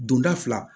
Donda fila